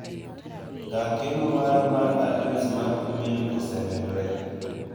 Ka keno mara mar adres mar imel osemedore.